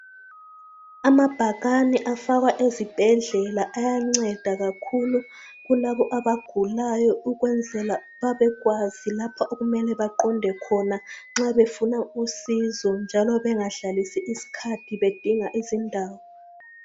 Amabhakani afakwa ezibhedlela ayanceda kakhulu kulabo abagulayo ukwenzela babekwazi lapha okumele baqonde khona nxa befuna usizo njalo bengadlalisi isikhathi bedinga izindawo.